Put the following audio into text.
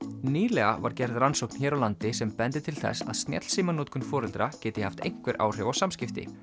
nýlega var gerð rannsókn hér á landi sem bendir til þess að snjallsímanotkun foreldra geti haft einhver áhrif á samskipti